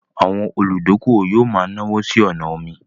Àwọn olùdókówò yóò ma náwó sí ọnà omi